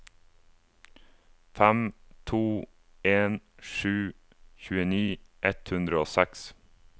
fem to en sju tjueni ett hundre og seks